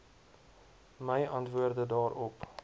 my antwoorde daarop